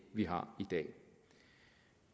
vi har i dag